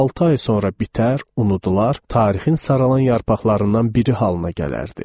Altı ay sonra bitər, unudular, tarixin saralan yarpaqlarından biri halına gələrdi.